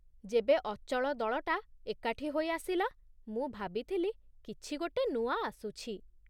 ଯେବେ ଅଚଳ ଦଳଟା ଏକାଠି ହୋଇ ଆସିଲା, ମୁଁ ଭାବିଥିଲି କିଛି ଗୋଟେ ନୂଆ ଆସୁଛି...